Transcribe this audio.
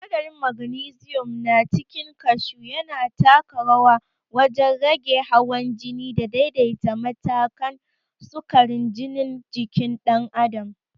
Sinadarin magnesium na cikin kashu yana taka rawa wajen rage hawan jini da daidaita matakan sukarin jinin jikin dan'adam.